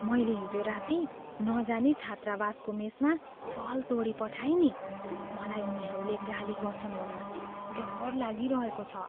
मैले हिजो राती नजानी छात्रावासको मेसमा कल तोडिपठाएँ नि। मलाई उनीहरूले गाली गर्छन् होला। डर लागिरहेको छ।